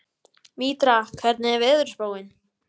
Mítra, hvernig er veðurspáin?